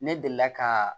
Ne delila ka